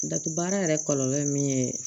Dataa baara yɛrɛ kɔlɔlɔ min ye